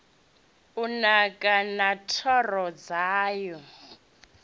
u naka na thoro dzawo